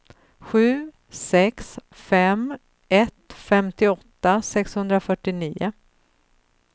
sju sex fem ett femtioåtta sexhundrafyrtionio